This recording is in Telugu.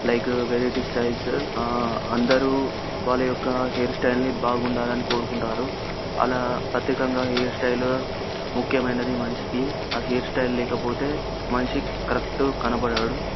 లైక్ వేరీ ఆ అందరూ వాళ్ళ యొక్క హేర్ స్టైల్ ని బాగుండాలని కోరుకుంటారు. అలా ప్రత్యేకంగా హేర్ స్టైల్ ముక్యమైనది మనిషికి. ఆ హేర్ స్టైల్ లేకపోతే మనిషి కరక్ట్ కనబడడు.